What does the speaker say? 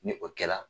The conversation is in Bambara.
Ni o kɛla